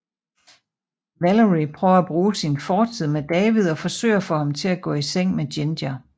Valerie prøver at bruge sin fortid med David og forsøger at få ham til at gå i seng med Ginger